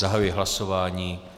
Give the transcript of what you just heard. Zahajuji hlasování.